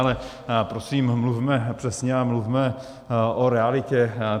Ale prosím, mluvme přesně a mluvme o realitě.